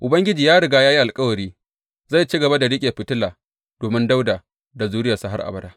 Ubangiji ya riga ya yi alkawari zai ci gaba da riƙe fitila domin Dawuda da zuriyarsa har abada.